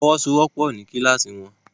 Wọ́n fọwọ́sowọ́pọ̀ ní kíláàsì wọn